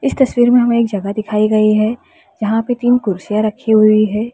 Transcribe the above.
इस तस्वीर में हमें एक जगह दिखाई गई है यहां पे तीन कुर्सियां रखी हुई है।